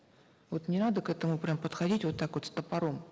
вот не надо к этому прямо подходить вот так вот с топором